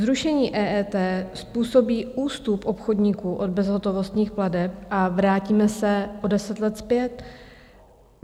Zrušení EET způsobí ústup obchodníků od bezhotovostních plateb a vrátíme se o deset let zpět.